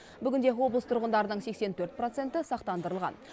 бүгінде облыс тұрғындарының сексен төрт проценті сақтандырылған